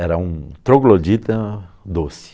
Era um troglodita doce.